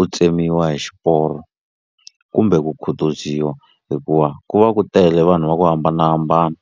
u tsemiwa hi xiporo kumbe ku khutuziwa hikuva ku va ku tele vanhu va ku hambanahambana.